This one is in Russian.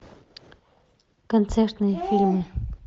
концертные фильмы